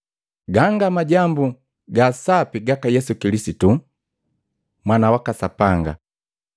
Ganga Majambu ga Sapi gaka Yesu Kilisitu, Mwana waka Sapanga.